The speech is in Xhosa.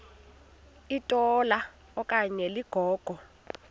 litola okanye ligogo